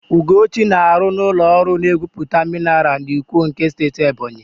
Ugochi na-arụ n'ụlọ ọrụ na-egwuputa minaral n'Ikwo nke Steeti Ebonyi.